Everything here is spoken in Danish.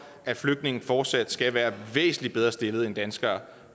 at flygtninge fortsat skal være væsentlig bedre stillet end danskere